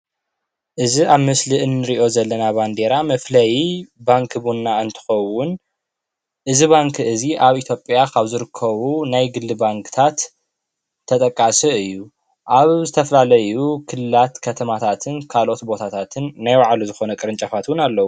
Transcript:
እዚ ምስሊ ኣርማ ባንኪ ቡና ኮይኑ ኣብ መላእ ኢትዮጵያ ከዓ ይርከብ።